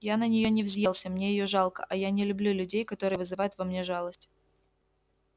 я на неё не взъелся мне её жалко а я не люблю людей которые вызывают во мне жалость